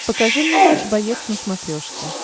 покажи мне матч боец на смотрешке